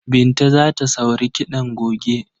Binta za ta sauri kiɗan goge.